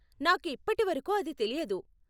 నాకు ఇప్పటివరకు అది తెలియదు.